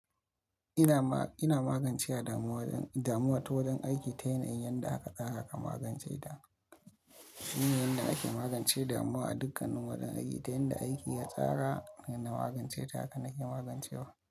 Ina ma-- ina magance damuwa don, damuwa ta wurin aiki ta yanayin da aka tsara aka magance ta. Shi ne yanda ake magance damuwa a dukkan wurin aiki, ta yanda aiki ya tsara, yana magance ta haka nake magance wa.